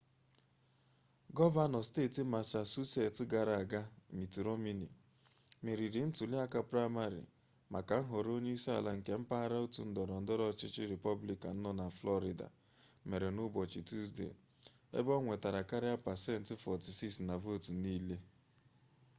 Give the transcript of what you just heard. gọvanọ steeti masachusets gara aga mitt romney meriri ntuliaka praịmarị maka nhọrọ onye isi ala nke mpaghara otu ndọrọ ndọrọ ọchịchị rịpọblikan nọ na flọrida mere n'ụbọchị tusdee ebe o nwetara karịa pasent 46 na vootu niile